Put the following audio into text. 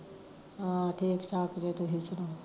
ਹਾਂ ਠੀਕ ਠਾਕ ਜੇ ਤੁਸੀਂ ਸੁਣਾਓ